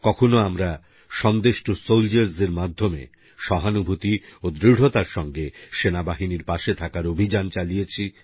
কখনো আমরা Sandesh to soldiers এর মাধ্যমে সহানুভূতি ও দৃঢ়তার সঙ্গে সেনাবাহিনীর পাশে থাকার অভিযান চালিয়েছি